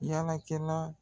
yala kɛla.